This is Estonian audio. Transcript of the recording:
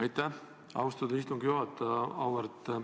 Aitäh, austatud istungi juhataja!